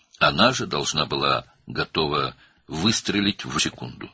O, elə həmin an bir saniyə içində atəş açmağa hazır olmalı idi.